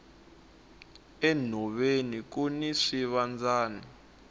enhoveni kuni swivandzani